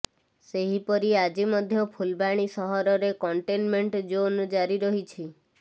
ସେହିପରି ଆଜି ମଧ୍ୟ ଫୁଲବାଣୀ ସହରରେ କଣ୍ଟେନମେଣ୍ଟ ଜୋନ୍ ଜାରି ରହିଛି